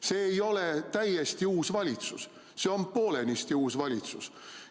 See ei ole täiesti uus valitsus, see on poolenisti uus valitsus.